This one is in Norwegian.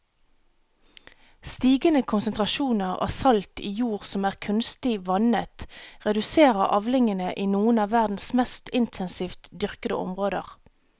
Stigende konsentrasjoner av salt i jord som er kunstig vannet reduserer avlingene i noen av verdens mest intensivt dyrkede områder.